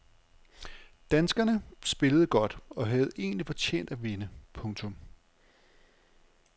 Danskerne spillede godt og havde egentlig fortjent at vinde. punktum